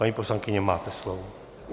Paní poslankyně, máte slovo.